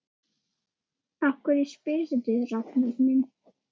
Af hverju spyrðu, Ragnar minn?